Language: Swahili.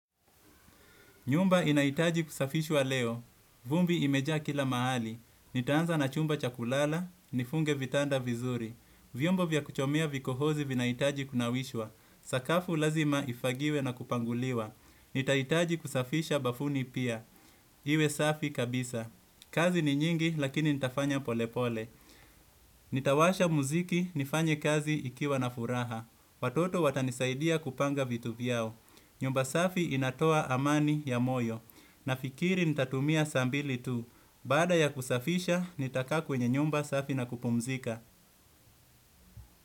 Nyumba inahitaji kusafishwa leo. Vumbi imejaa kila mahali. Nitaanza na chumba cha kulala, nifunge vitanda vizuri. Vyombo vya kuchomea vikohozi vinahitaji kunawishwa. Sakafu lazima ifagiwe na kupanguliwa. Nitahitaji kusafisha bafuni pia. Iwe safi kabisa. Kazi ni nyingi lakini nitafanya polepole. Nitawasha muziki, nifanye kazi ikiwa na furaha. Watoto watanisaidia kupanga vitu vyao. Nyumba safi inatoa amani ya moyo. Nafikiri nitatumia saa mbili tu baada ya kusafisha nitakaa kwenye nyumba safi na kupumzika.